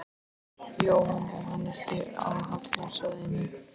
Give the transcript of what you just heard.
Jóhann: Er hann ekki á hafnarsvæðinu?